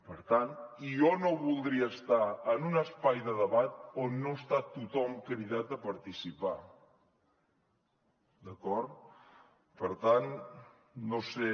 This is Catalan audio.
per tant jo no voldria estar en un espai de debat on no està tothom cridat a participar d’acord per tant no sé